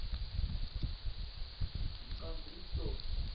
kan drie tot